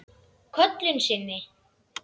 Köllun sinni?